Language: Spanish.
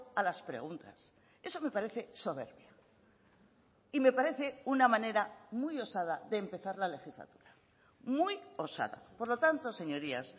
a las preguntas eso me parece soberbia y me parece una manera muy osada de empezar la legislatura muy osada por lo tanto señorías